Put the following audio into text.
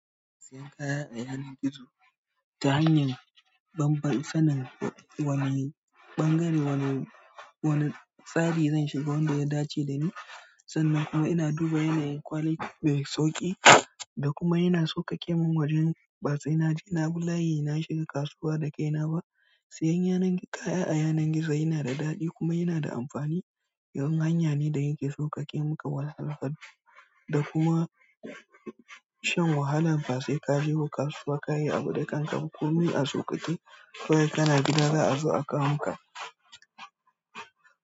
Siyan kaya a yanar gizo ta hanyar babbar sanin wani ɓangare wani, wani tsari zan shiga wanda ya dace da ni sannan kuma ina duba yanayin ƙwali, mai sauƙi da kuma yana sauƙaƙe min wajen ba sai na je na bi layi na shiga kasuwa da kai na ba. Siyan kaya a yanar gizo yana da daɗi kuma yana da amfani. Don hanya ne da yake sauƙaƙe maka wahalhalu da kuma shan wahala ba sai ka je ba kasuwa ka yi abu da kanka. Kunmi a sauƙaƙe soyayya kana gida za a zo aka muka.